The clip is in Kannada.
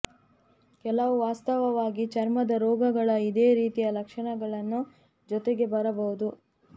ಕೆಲವು ವಾಸ್ತವವಾಗಿ ಚರ್ಮದ ರೋಗಗಳ ಇದೇ ರೀತಿಯ ಲಕ್ಷಣಗಳನ್ನು ಜೊತೆಗೇ ಬರಬಹುದು